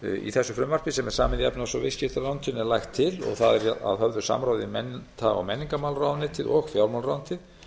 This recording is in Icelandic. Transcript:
í þessu frumvarpi sem er samið í efnahags og viðskiptaráðuneytinu er lagt til og það er að höfðu samráði við mennta og menningarmálaráðuneytið og fjármálaráðuneytið